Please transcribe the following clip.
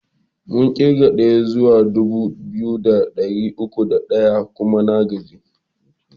Mun ƙirga ɗaya zuwa dubu biyu da ɗari uku da ɗaya kuma na gaji.